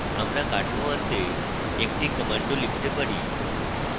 আমরা কাঠামো আনতে একটি command ও লিখতে পারি